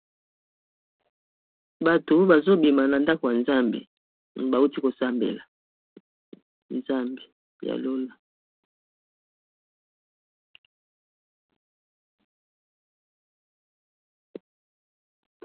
Bato bazo bima na ndako ya Nzambe, bauti ko sambela Nzambe ya lola.